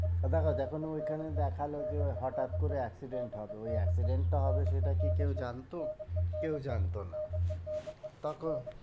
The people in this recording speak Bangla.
ও দেখো যখন ও ওইখানে দেখালো যে ওর হঠাৎ করে accident হবে ওই accident টা হবে সেটা কি কেউ জানতো? কেউ জানতো না তখন